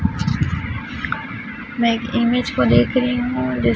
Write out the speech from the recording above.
मैं एक इमेज को देख रही हूँ जिस--